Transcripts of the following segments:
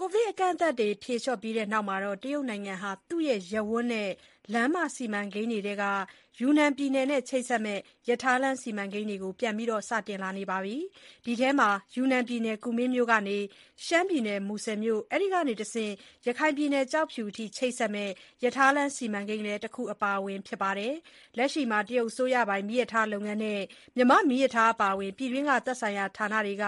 ကိုဗစ်အကန့်အသတ်တွေ ဖြေလျှော့ပြီးတဲ့နောက် တရုတ်နိုင်ငံဟာ သူ့ရဲ့ ရပ်ဝန်းနဲ့လမ်းမ စီမံကိန်းတွေထဲက ယူနန်ပြည်နယ်နဲ့ ချိတ်ဆက်မယ့် ရထားလမ်း စီမံကိန်းတွေကို ပြန်ပြီး စတင်လာနေပြီ ဖြစ်ပါတယ်။ ဒီထဲမှာ ယူနန်ပြည်နယ် ကူမင်းမြို့ကနေ ရှမ်းပြည်နယ် မူဆယ်မြို့၊ အဲဒီကနေ ရခိုင်ပြည်နယ် ကျောက်ဖြူအထိ ချိတ်ဆက်မယ့် ရထားလမ်း စီမံကိန်းလည်း တခုအပါအဝင် ဖြစ်ပါတယ်။ လက်ရှိမှာ တရုတ်အစိုးရပိုင် မီးရထားလုပ်ငန်းနဲ့ မြန်မာ့မီးရထားအပါအဝင် ပြည်တွင်းက သက်ဆိုင်ရာဌာနတွေက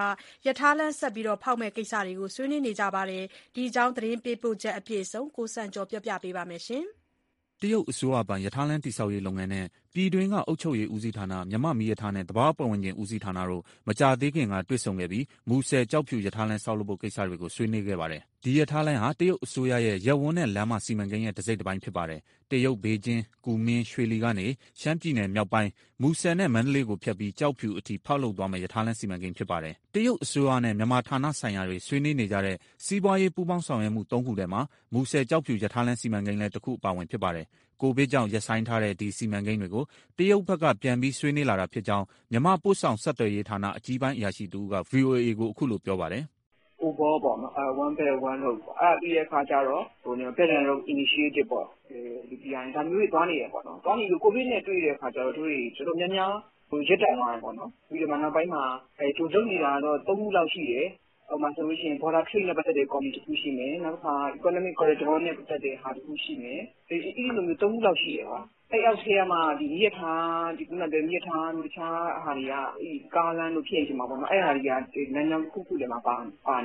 ရထားလမ်း ဆက်လက်လုပ်မယ့် ကိစ္စတွေကို ဆွေးနွေးနေကြပြီ ဖြစ်ပါတယ်။ ဒီအကြောင်း သတင်းပေးပို့ချက် အပြည့်အစုံကို ကိုစံကျော်က ပြောပြမှာပါ။ တရုတ်အစိုးရပိုင်ရထားလမ်း တည်ဆောက်ရေး လုပ်ငန်းနဲ့ ပြည်တွင်းက အုပ်ချုပ်ရေး ဦးစီးဌာန၊ မြန်မာ့မီးရထားနဲ့ သဘာဝပတ်ဝန်းကျင် ဦးစီးဌာနတို့ မကြာသေးခင်က တွေ့ဆုံခဲ့ပြီး မူဆယ်- ကျောက်ဖြူ ရထားလမ်း ဆောက်လုပ်ဖို့ ကိစ္စတွေကို ဆွေးနွေးခဲ့ပါတယ်။ ဒီရထားလမ်းဟာ တရုတ်အစိုးရရဲ့ ရပ်ဝန်းနဲ့လမ်းမ စီမံကိန်းရဲ့ တစိတ်တပိုင်း ဖြစ်ပါတယ်။ တရုတ် ဘေဂျင်း-ကူမင်း-ရွှေလီကနေ ရှမ်းပြည်နယ်မြောက်ပိုင်း မူဆယ်နဲ့ မန္တလေးကိုဖြတ်ပြီး ကျောက်ဖြူအထိ ဖောက်လုပ်သွားမယ့် ရထားလမ်းစီမံကိန်း ဖြစ်ပါတယ်။ တရုတ်အစိုးရနဲ့ မြန်မာဌာနဆိုင်ရာတွေ ဆွေးနွေးနေကြတဲ့ စီးပွားရေး ပူးပေါင်းဆောင်ရွက်မှု သုံးခုထဲမှာ မူဆယ်-ကျောက်ဖြူ ရထားလမ်း စီမံကိန်းလည်း တခုအပါအဝင် ဖြစ်ပါတယ်။ ကိုဗစ်ကြောင့်ရပ်ဆိုင်းထားတဲ့ ဒီစီမံကိန်းတွေကို တရုတ်ဘက်က ပြန်ပြီး ဆွေးနွေးလာတာဖြစ်ကြောင်း မြန်မာ ပို့ဆောင်ဆက်သွယ်ရေးဌာန အကြီးပိုင်းအရာရှိတဦးက ဗွီအိုအေကို အခုလိုပြောပါတယ်။ " (အရင်က) OBOR ပေါ့နော် one belt, one road အဲဒီပြီးတဲ့အခါကြတော့ Belt and Road Initiative (BRI) ဒါမျိုးတွေ သွားနေတယ်ပေါ့။ သွားနေတဲ့အချိန် ကိုဗစ်နဲ့ တွေ့တဲ့အခါကြတော့ တို့တွေ တော်တော်များများ ရပ်တန့်သွားတယ်၊ ပြီးတော့ နောက်ပိုင်းမှာ တို့လုပ်နေတာ သုံးခုလောက်ရှိတယ်။ ဥပမာ Border Trade နဲ့ပတ်သက်တဲ့ ကော်မတီတခုရှိတယ်။ နောက်တခု Economic Corridor နဲ့ပတ်သက်တဲ့ ကော်မတီတခုရှိတယ် အဲလို၃ခုရှိတယ်။ အဲအောက်ထဲကမှ မီးရထားတို့ တခြားဟာတွေ ကားလမ်းတို့ အဲဟာတွေက လမ်းကြောင်းတခုခုထဲမှာ ပါ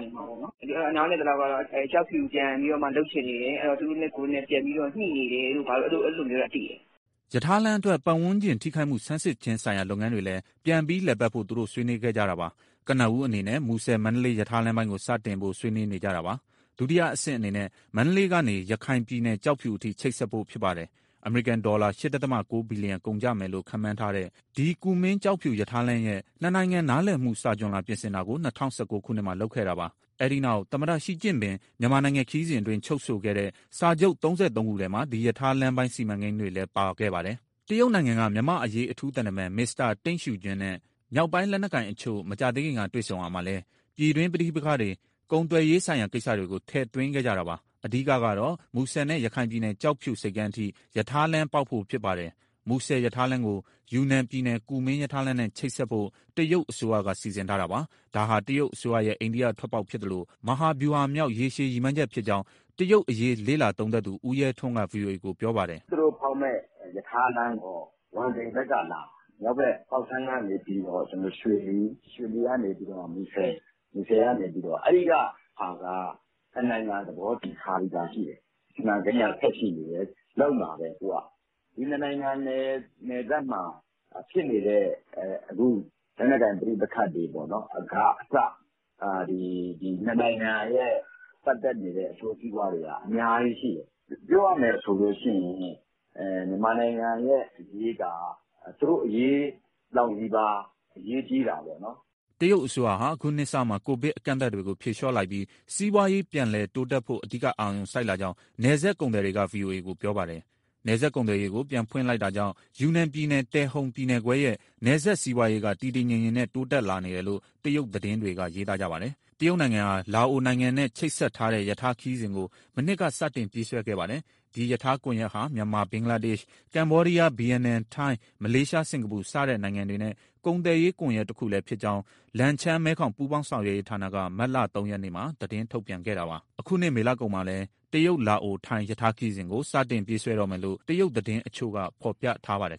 နေမှာပေါ့။ အဲဒီတော့ နားလည်သလောက်ကတော့ ကျောက်ဖြူပြန်ပြီးတော့မှ လုပ်ချင်နေတယ် သူတို့နဲ့ကိုယ်နဲ့ ပြန်ညှိနေတယ်တို့ အဲလိုမျိုးတော့ သိတယ်။" ရထားလမ်းအတွက် ပတ်ဝန်းကျင်ထိခိုက်မှု ဆန်စစ်ခြင်းဆိုင်ရာ လုပ်ငန်းတွေလည်း ပြန်ပြီးလည်ပတ်ဖို့ သူတို့ ဆွေးနွေးခဲ့ကြတာပါ။ ကနဦးအနေနဲ့ မူဆယ်- မန္တလေးရထားလမ်းပိုင်းကို စတင်ဖို့ ဆွေးနွေးနေကြတာပါ။ ဒုတိယအဆင့် အနေနဲ့ မန္တလေးကနေ ရခိုင်ပြည်နယ် ကျောက်ဖြူအထိ ချိတ်ဆက်ဖို့ဖြစ်ပါတယ်။ အမေရိကန်ဒေါ်လာ ၈.၉ ဘီလီယံ ကုန်ကျမယ်လို့ ခန့်မှန်းထားတဲ့ ဒီကူမင်း-ကျောက်ဖြူ ရထားလမ်းရဲ့ နှစ်နိုင်ငံနားလည်မှု စာချွန်လွှာ ပြင်ဆင်တာကို ၂၀၁၉ ခုနှစ်မှာ လုပ်ခဲ့တာပါ။ အဲဒီနောက် သမ္မတရှီကျင့်ပင် မြန်မာနိုင်ငံခရီစဉ်အတွင်း ချုပ်ဆိုခဲ့တဲ့ စာချုပ်၃၃ခုထဲမှာ ဒီရထားလမ်းပိုင်း စီမံကိန်းတွေလည်း ပါခဲ့ပါတယ်။ တရုတ်နိုင်ငံက မြန်မာ့အရေး အထူးသံတမန် မစ္စတာ တိန့်ရှီဂျွမ်းနဲ့ မြောက်ပိုင်းလက်နက်ကိုင်တချို့ မကြာသေးခင်က တွေ့ဆုံရာမှာလည်း ပြည်တွင်းပဋိက္ခတွေ၊ ကုန်သွယ်ရေးဆိုင်ရာ ကိစ္စတွေကို ထည့်သွင်းခဲ့ကြတာပါ။ အဓိကတော့ မူဆယ်နဲ့ ရခိုင်ပြည်နယ် ကျောက်ဖြူဆိပ်ကမ်းအထိ ရထားလမ်းပေါက်ဖို့ ဖြစ်ပါတယ်။ မူဆယ်ရထားလမ်းကို ယူနန်ပြည်နယ်၊ ကူမင်းရထားလမ်းနဲ့ ချိတ်ဆက်ဖို့ တရုတ်အစိုးရက စီစဉ်ထားတာပါ။ ဒါဟာ တရုတ်အစိုးရရဲ့ အိန္ဒိထွက်ပေါက်ဖြစ်သလို မဟာဗျူဟာမြောက် ရေရှည်ရည်မှန်းချက် ဖြစ်ကြောင်း တရုတ်ရေးရာ လေ့လာသုံးသပ်သူ ဦးရဲထွန်းက ဗွီအိုအေကို ပြောပါတယ်။ " သူတို့ဖောက်မယ့် ရထားလမ်းက ဝမ်တိန်ဘက်ကလာမှာ။ မြောက်ဘက် ပေါက်ဆမ်းကနေပြီးတော့ ရွှေလီ၊ ရွှေလီကနေ မူဆယ်၊ မူဆယ်ကနေ (ကျောက်ဖြူ)။ အဲဒီကဟာက နှစ်နိုင်ငံ သဘောတူထားပြီးသား ရှိတယ်။ စီမံကိန်က ဆက်ရှိနေတယ်၊ လုပ်မှာပဲသူက။ ဒီနှစ်နိုင်ငံနယ်စပ်မှာ ဖြစ်နေတဲ့ အခု လက်နက်ကိုင် ပဋိပက္ခတွေကအစပေါ့နော် ဒီနှစ်နိုင်ငံရဲ့ ပတ်သက်နေတဲ့ အကျိုးစီးပွားတွေက အများကြီးရှိတယ်။ ပြောရမယ်ဆိုရင် မြန်မာနိုင်ငံရဲ့အရေးက သူတို့အရေးလောက်နီးပါး အရေးကြီးတာပေါ့နော်။" တရုတ်အစိုးရဟာ အခုနှစ်စမှာ ကိုဗစ်အကန့်အသတ်တွေကို ဖြေလျှော့လိုက်ပြီး စီးပွားရေး ပြန်တိုးတက်ဖို့ အဓိက အာရုံစိုက်လာကြောင်း နယ်စပ်ကုန်သည်တွေက ဗွီအိုအေကို ပြောပါတယ်။ နယ်စပ်ကုန်သွယ်ရေးကို ပြန်ဖွင့်လိုက်တာကြောင့် ယူနန်ပြည်နယ်၊ တယ်ဟုန်ပြည်နယ်ခွဲရဲ့ နယ်စပ်စီးပွားရေးက တည်တည်ငြိမ်ငြိမ်ပဲ တိုးတက်လာနေတယ်လို့ တရုတ်သတင်းတွေက ရေးသားကြပါတယ်။ တရုတ်နိုင်ငံဟာ လာအိုနိုင်ငံနဲ့ ချိတ်ဆက်ထားတဲ့ ရထားခရီးစဉ်ကို မနှစ်က စတင်ပြေးဆွဲခဲ့ပါတယ်။ ဒီရထားကွန်ရက်ဟာ မြန်မာ၊ ဘင်္ဂလားဒေ့ရှ်၊ ကမ္ဘောဒီးယား၊ ဗီယက်နမ်၊ ထိုင်း၊ မလေးရှား၊ စင်္ကာပူ စတဲ့နိုင်ငံတွေနဲ့ ကုန်သွယ်ရေး ကွန်ရက်တခုတည်းဖြစ်ကြောင်း လန်ချန်း-မဲခေါင် ပူးပေါင်းဆောင်ရွက်ရေးဌာနက မတ်လ၃ရက်မှာ သတင်း ထုတ်ပြန်ခဲ့တာပါ။ အခုနှစ်မေလကုန်မှာလည်း တရုတ်-လာအို-ထိုင်း ရထားခရီးစဉ်ကို စတင်ပြေးဆွဲတော့မယ်လို့ တရုတ်သတင်းတချို့က ဖော်ပြထားပါတယ်